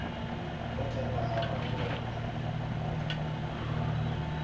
vo tala a va na